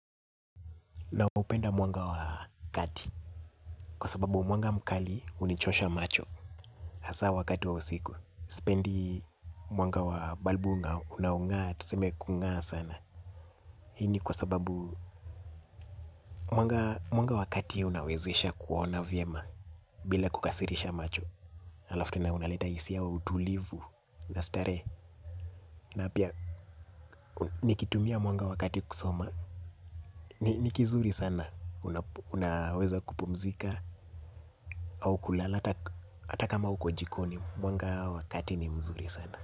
Naupenda mwanga wa kati. Kwa sababu mwanga mkali hunichosha macho. Hasa wakati wa usiku sipendi mwanga wa balbu unaongaa. Tuseme kungaa sana. Hini kwa sababu mwanga wakati unawezesha kuona vyema. Bila kukasirisha macho halafu tena unaleta hisia ya utulivu. Na starehe na pia nikitumia mwanga wakati kusoma ni kizuri sana. Unaweza kupumzika au kulala hata kama uko jikoni mwanga wa kati ni mzuri sana.